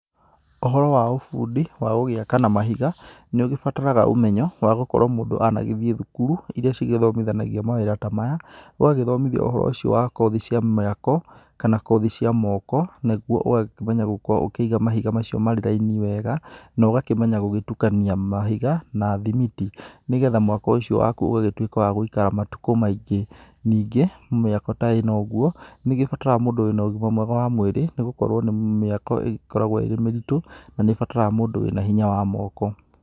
Ũhoro wa ũbundi wa gũgĩaka na mahiga nĩ ũbataraga ũmenyo wa gukorwo mũndũ anagĩthĩi thukuru ĩrĩa cĩgĩthomĩthanagia mawira ta maya. Ũgagĩthomĩthio ũhoro ũcĩo wa kothi cĩa miako kana kothi cĩa moko, nĩguo ũgakĩmenya gũkĩiga mahiga macĩo marĩ raini wega, na ũgakĩmenya gũgĩtukania mahiga na thimiti, nĩgetha mwako ũcĩo wakũ ũgagĩkorwo wa gũikara matukũ maĩngĩ. Ningĩ mĩako ta ĩno ũguo, nĩgĩbataraga mũndũ wĩna ũgima mwega wa mwĩrĩ, nĩgũkorwo mĩako ĩgĩkoragwo ĩ mĩrĩtu na nĩ ĩbataraga mũndũ wĩna hinya wa moko.